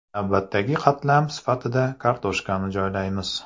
Navbatdagi qatlam sifatida kartoshkani joylaymiz.